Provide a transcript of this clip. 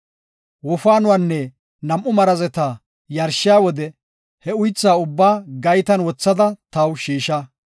Wofaanuwanne nam7u marazeta yarshiya wode he uytha ubbaa gaytan wothada taw shiisha.